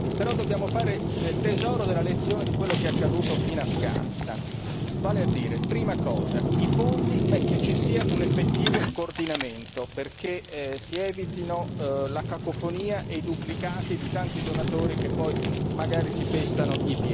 Però, dobbiamo fare tesoro della lezione di quello che è accaduto in Afghanistan, vale a dire, prima cosa i fondi, che ci sia un effettivo coordinamento perché si evitino la cacofonia e i duplicati di tanti donatori che poi magari si pestano i piedi